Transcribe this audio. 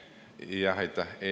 Aitäh!